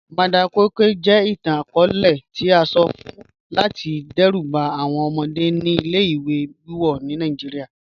Madam koi koi jẹ itan-akọọlẹ itan ti a sọ fun lati dẹruba awọn ọmọde ni ile-iwe wiwọ ni Nigeria